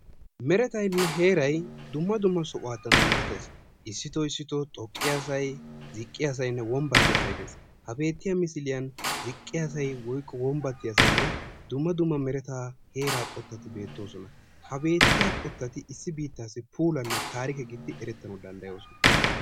Meretaynne heerayi dumma dumma sohuwadan dummates . Issito issito xoqqiyasayi, ziqqiyasaynne wombbatttiyasayi de"es. Ha beettiya misiliyan ziqqiyasayi woykko wombbattiyasaynne dumma dumma meretaa heeraa qottati beettoosona. Ha beettiya qottati issi biittaassa puulanne taarike gididi erettanawu danddayoosona.